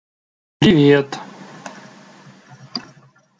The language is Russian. привет